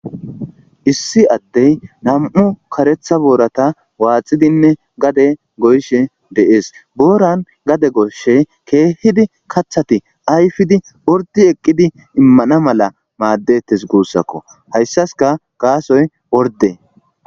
Issi adeyi nam'u karetha borrata waxidi gadeni goyishe deyesi borani gade goshi kehidi kathati gadeni oridi eqidi imana mala madetesi gusakko hayisasika gassoyi oride.